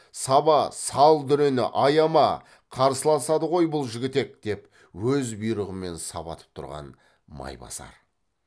саба сал дүрені аяма қарсыласады ғой бұл жігітек деп өз бұйрығымен сабатып тұрған майбасар